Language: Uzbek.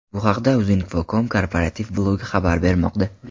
Bu haqda Uzinfocom korporativ blogi xabar bermoqda .